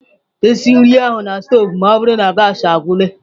Esi nri ahụ na stovu ma ọ bụrụ na gaasị agwụla!